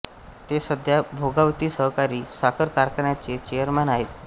ते सध्या भोगावती सहकारी साखर कारखान्याचे चेअरमन आहेत